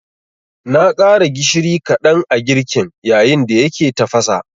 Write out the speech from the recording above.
Na ƙara gishiri kaɗan a girkin, yayin da yake tafasa